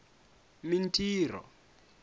mintirho